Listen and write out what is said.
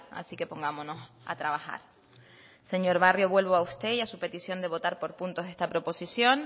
así que pongámonos a trabajar señor barrio vuelvo a usted y a su petición de votar por puntos esta proposición